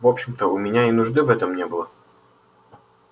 в общем-то у меня и нужды в этом не было